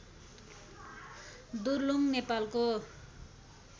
दुर्लुङ नेपालको